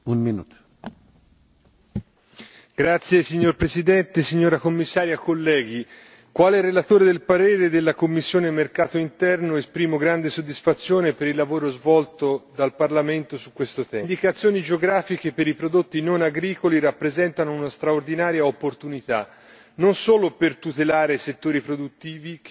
Signor Presidente, onorevoli colleghi, Commissario, quale relatore per parere della commissione per il mercato interno esprimo grande soddisfazione per il lavoro svolto dal Parlamento su questo tema. Le indicazioni geografiche per i prodotti non agricoli rappresentano una straordinaria opportunità non solo per tutelare i settori produttivi che oggi realizzano ricchezza e occupazione,